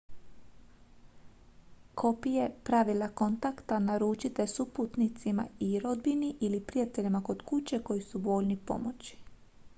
kopije pravila/kontakta uručite suputnicima i rodbini ili prijateljima kod kuće koji su voljni pomoći